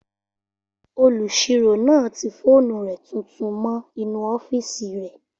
Olùsirò náà ti fóònù rẹ̀ tuntun mọ́ inú ọ́fìsì rẹ̀